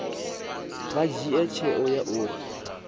vha dzhie tsheo ya uri